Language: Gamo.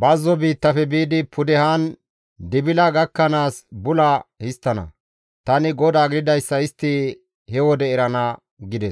bazzo biittafe biidi pudehan Dibila gakkanaas bula histtana; tani GODAA gididayssa istti he wode erana» gides.